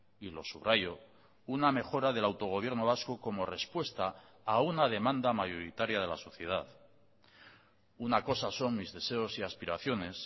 y lo subrayo una mejora del autogobierno vasco como respuesta a una demanda mayoritaria de la sociedad una cosa son mis deseos y aspiraciones